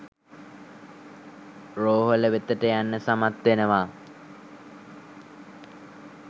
රෝහල වෙතට යන්න සමත් වෙනවා.